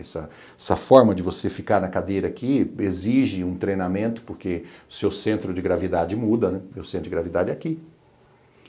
Essa essa forma de você ficar na cadeira aqui exige um treinamento, porque o seu centro de gravidade muda, meu centro de gravidade é aqui.